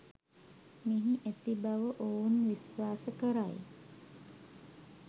මෙහි ඇති බව ඔවුන් විශ්වාස කරයි.